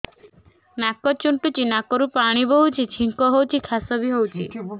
ନାକ ଚୁଣ୍ଟୁଚି ନାକରୁ ପାଣି ବହୁଛି ଛିଙ୍କ ହଉଚି ଖାସ ବି ହଉଚି